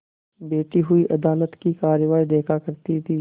बैठी हुई अदालत की कारवाई देखा करती थी